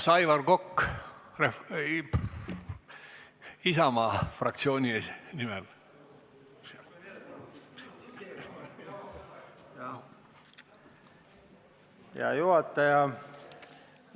Hea juhataja!